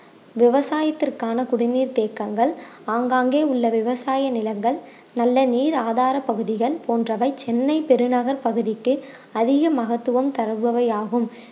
விவசாயத்திற்கான குடிநீர் தேக்கங்கள் ஆங்காங்கே உள்ள விவசாய நிலங்கள் நல்ல நீர் ஆதார பகுதிகள் போன்றவை சென்னை பெருநகர் பகுதிக்கு அதிக மகத்துவம் தருபவை ஆகும்